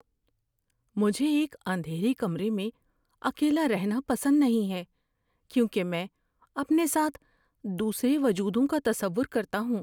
مجھے ایک اندھیرے کمرے میں اکیلا رہنا پسند نہیں ہے کیونکہ میں اپنے ساتھ دوسرے وجودوں کا تصور کرتا ہوں۔